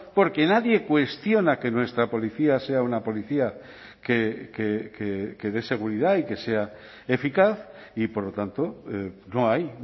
porque nadie cuestiona que nuestra policía sea una policía que dé seguridad y que sea eficaz y por lo tanto no hay